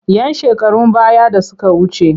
‘Yan shekarun baya da suka wuce.